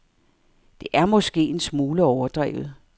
Det er måske en smule overdrevet.